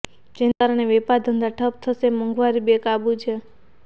જેને કારણે વેપાર ધંધા ઠપ્પ થશે મોંઘવારી બેકાબુ છે